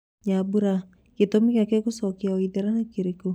Nyambura:Gĩtũmi gĩake gũcoka Waithĩra ni kĩrĩkũ?